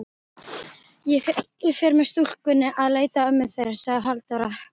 Ég fer með stúlkurnar að leita ömmu þeirra, sagði Halldóra.